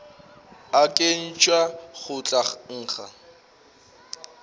a nkhwetša go tla nkga